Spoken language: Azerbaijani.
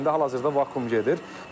İndi hal-hazırda vakuum gedir.